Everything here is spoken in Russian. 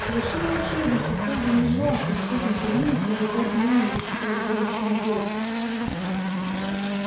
совершенно очевидно что сэлдон не желал чтобы кто-то на терминусе обладал умением высчитывать будущее наперёд